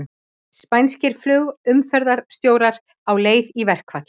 Spænskir flugumferðarstjórar á leið í verkfall